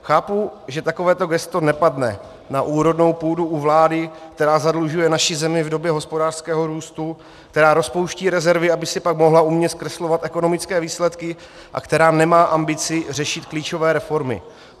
Chápu, že takovéto gesto nepadne na úrodnou půdu u vlády, která zadlužuje naši zemi v době hospodářského růstu, která rozpouští rezervy, aby si pak mohla umně zkreslovat ekonomické výsledky, a která nemá ambici řešit klíčové reformy.